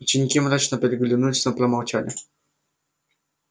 ученики мрачно переглянулись но промолчали